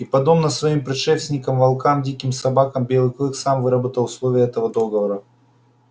и подобно всем своим предшественникам волкам и диким собакам белый клык сам выработал условия этого договора